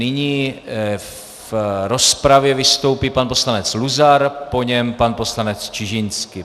Nyní v rozpravě vystoupí pan poslanec Luzar, po něm pan poslanec Čižinský.